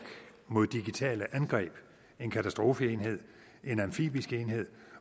mod digitale angreb en katastrofeenhed en amfibisk enhed